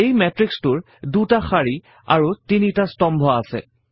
এই matrix টোৰ ২ টা শাৰী আৰু ৩ টা স্তম্ভ আছে